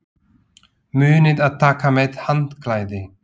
Munið að taka með handklæði!